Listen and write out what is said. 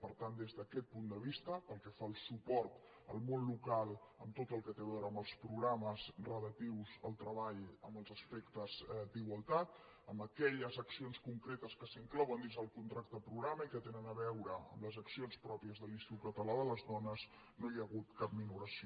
per tant des d’aquest punt de vista pel que fa al suport al món local en tot el que té a veure amb els programes relatius al treball en els aspectes d’igualtat en aquelles accions concretes que s’inclouen dins del contracte programa i que tenen a veure amb les accions pròpies de l’institut català de les dones no hi ha hagut cap minoració